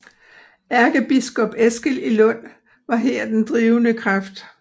Ærkebiskop Eskil i Lund var her den drivende kraft